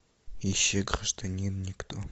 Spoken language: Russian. ищи гражданин никто